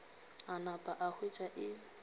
a napa a hwetša e